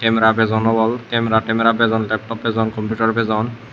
camara bajon obol camara Tamara bajon laptop bajon computer bajon.